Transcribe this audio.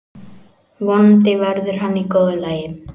Vonandi verður hann í góðu lagi.